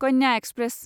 Kanya express